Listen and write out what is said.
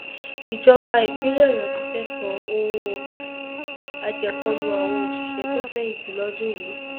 ìjọba ìpínlẹ ọyọ ti fẹẹ san owó àjẹpọnú àwọn òṣìṣẹ tó fẹyìntì lọdún yìí